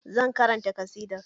Zan karanta ƙasidar